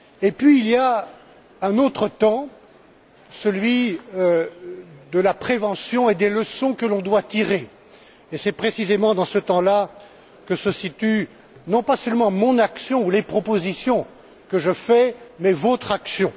Puis, il y a un autre temps, celui de la prévention et des leçons que l'on doit tirer. C'est précisément dans ce temps là que se situent, non pas seulement mon action ou les propositions que je fais, mais votre action.